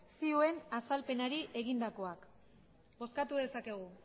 zioen azalpenari egindakoak bozkatu dezakegu